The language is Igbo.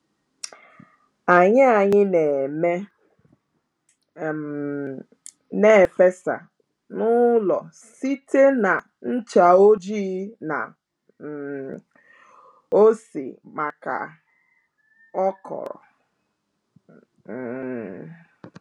Anyị Anyị na-eme um n’fesa n'ụlọ site na ncha ojii na um ose maka okro um